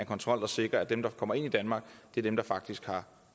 kontrol der sikrer at dem der kommer ind i danmark er dem der faktisk har